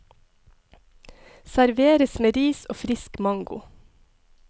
Serveres med ris og frisk mango.